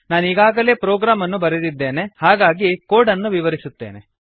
ನಾನೀಗಾಗಲೇ program ಅನ್ನು ಬರೆದಿದ್ದೇನೆ ಹಾಗಾಗಿ ಕೋಡ್ ಅನ್ನು ವಿವರಿಸುತ್ತೇನೆ